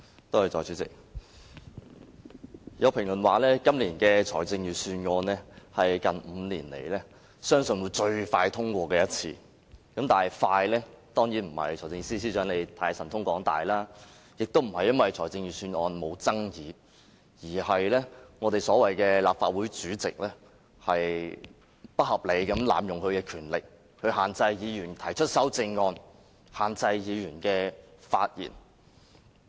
代理主席，有評論說今年的財政預算案相信是近5年來最快獲得通過的一次，但快的原因當然不是因為財政司司長神通廣大，也不是因為預算案沒有爭議，而是我們所謂的立法會主席不合理地濫用權力，限制議員提出修正案，以及限制議員發言。